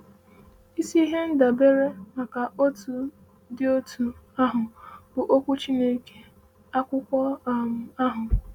um “Isi ihe ndabere maka otu dị otú ahụ bụ Okwu Chineke, akwụkwọ um ahụ.”